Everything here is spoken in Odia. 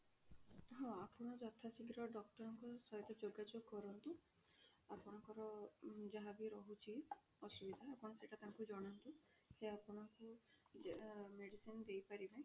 ହଁ ଆପଣ ଯଥା ଶୀଘ୍ର doctor ଙ୍କ ସହିତ ଯୋଗା ଯୋଗ କରନ୍ତୁ ଆପଣଙ୍କର ଯାହା ବି ରହୁଛି ଅସୁବିଧା ଆପଣ ସେଇଟା ତାଙ୍କୁ ଜଣାନ୍ତୁ ସେ ଆପଣଙ୍କୁ medicine ଦେଇ ପାରିବେ